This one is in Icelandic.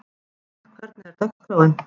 Rögnvald, hvernig er dagskráin?